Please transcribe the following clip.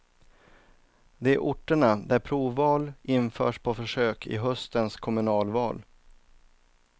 Det är orterna där provval införs på försök i höstens kommunalval.